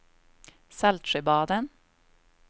Saltsjöbaden